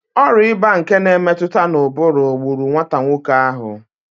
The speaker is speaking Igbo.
Ọrịạ ịba nke na-emetụta n'ụbụrụ gburu nwata nwoke ahụ